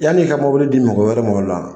Yani i ka di mɔgɔ wɛrɛ ma o la.